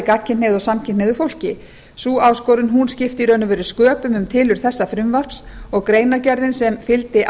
og samkynhneigðu fólki sú áskorun skipti sköpum um tilurð þessa frumvarps og greinargerðin sem fylgdi